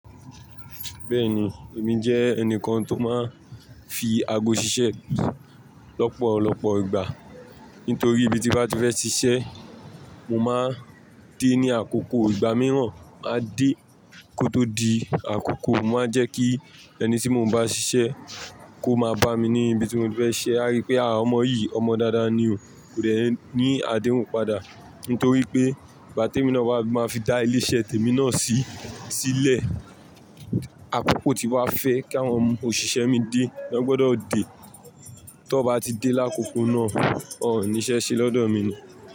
Bẹ́ẹ̀ni, èmi jẹ́ ẹnìkan tó máa ń fi ago ṣiṣẹ́ lọ́pọ̀lọpọ̀ ìgbà. Nítorí bí mo bá ti fẹ́ ṣiṣẹ́, mo máa dé ní àkókò ìgbà mìíràn, màá dé kó tó di àkókò, mo máa jẹ́ kí ẹni tí mo ń bá ṣiṣẹ́ kó máa bá mi ní ibi tí mo fẹ́ ṣe, á rí pé àwọn ọmọ yìí, ọmọ dáadáa ni o, kò dẹ̀ ní àdéhùn padà. Nítorí pé ìgbà tí èmi lọ bá máa fi dá ilé iṣẹ́ tèmi náà sí sílẹ̀, àkókò tí wá fẹ́ kí àwọn òṣìṣẹ́ mi dé, wọ́n gbọdọ̀ dé. Tọ́ bá ti dé lákòókò náà, ò ní ṣẹ́ ṣe lọ́dọ̀ mi ni.